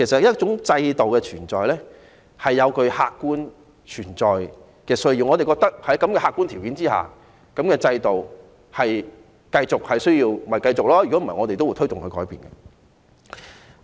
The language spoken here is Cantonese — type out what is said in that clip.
一種制度的存在有其客觀需要，我們覺得在客觀條件之下，制度需要繼續就會繼續，否則便會推動改變。